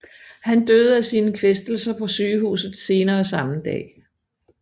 Han døde af sine kvæstelser på sygehuset senere samme dag